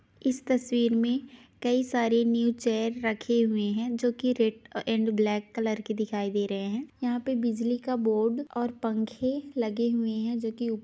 इस तस्वीर मे कई सारे न्यू चेयर रखे हुए हैं जो की रेड एण्ड ब्लैक कलर के दिखाई दे रहे हैं यहाँ पे बिजली का बोर्ड और पंखे लगे हुए हैं जो की--